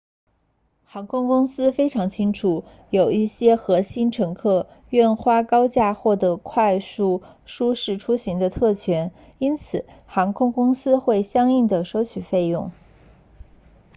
航空公司非常清楚有一些核心乘客愿花高价获得快速舒适出行的特权因此航空公司会相应地收取费用